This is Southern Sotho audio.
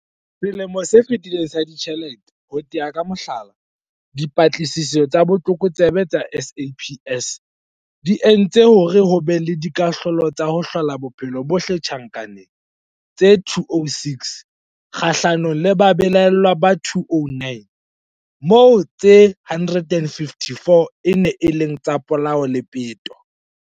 Selemong se fetileng sa ditjhelete, ho tea ka mohlala, Dipatlisiso tsa Botlokotsebe tsa SAPS di entse hore ho be le dikahlolo tsa ho hlola bophelo bohle tjhankaneng tse 206 kgahlanong le babelaellwa ba 209, moo tse 154 e neng e le tsa polao le peto.